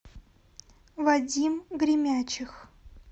вадим гремячих